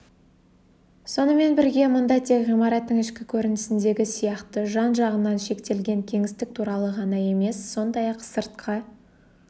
сонымен бірге мұнда тек ғимараттың ішкі көрінісіндегі сияқты жан-жағынан шектелген кеңістік туралы ғана емес сондай-ақ сыртқы